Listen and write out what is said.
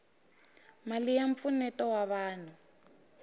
mali ya mpfuneto wa vanhu